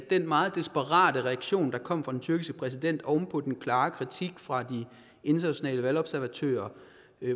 den meget desperate reaktion der kom fra den tyrkiske præsident oven på den klare kritik fra de internationale valgobservatører